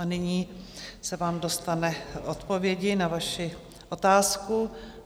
A nyní se vám dostane odpovědi na vaši otázku.